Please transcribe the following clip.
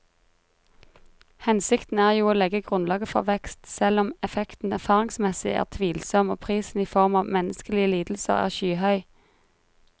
Hensikten er jo å legge grunnlaget for vekst, selv om effekten erfaringsmessig er tvilsom og prisen i form av menneskelige lidelser er skyhøy.